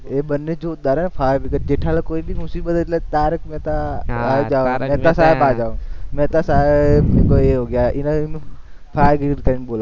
એ બંને જોરદાર હો , જેઠાલાલ કોઈ ભી મુસીબત હોય એટલે તારક મહેતા હા મહેતા સાહેબ ફાયર બ્રિગ્રેડ કઈને બોલાવે.